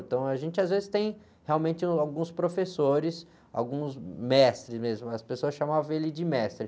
Então a gente às vezes tem realmente alguns professores, alguns mestres mesmo, as pessoas chamavam ele de mestre.